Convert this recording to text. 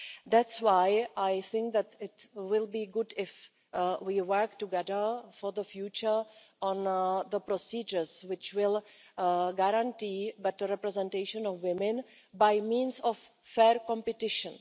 That's why I think that it will be good if we work together for the future on the procedures which will guarantee better representation of women by means of fair competition.